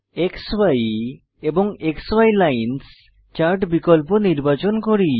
ক্সি এবং ক্সি lines chart বিকল্প নির্বাচন করি